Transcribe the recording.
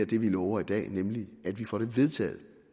det vi lover i dag nemlig at vi får det vedtaget